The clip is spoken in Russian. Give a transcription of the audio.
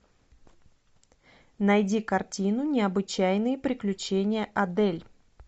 найди картину необычайные приключения адель